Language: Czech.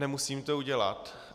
Nemusím to udělat.